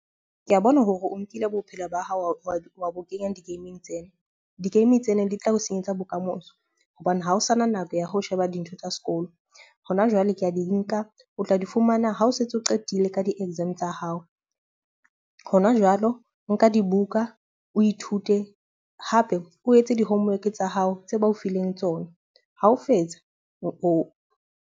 Ke a bona hore o nkile bophelo ba hao wa bo kenya di-game-ing tsena. Di-game tsena di tla o senyetsa bokamoso hobane ha o sana nako ya ho sheba dintho tsa sekolo. Hona jwale ke a di nka, o tla di fumana ha o sa setse o qetile ka di-exam tsa hao. Hona jwalo nka dibuka, o ithute hape o etse di-homework tsa hao tse ba o fileng tsona. Ha o fetsa .